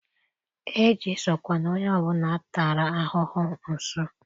ejesokwala onye ọ bụla a tara ahụhụ nso!